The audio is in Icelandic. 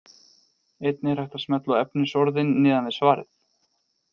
Einnig er hægt að smella á efnisorðin neðan við svarið.